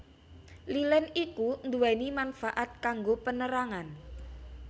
Lilin iku nduweni manfaat kanggo penerangan